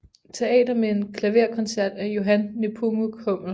Teater med en klaverkoncert af Johann Nepomuk Hummel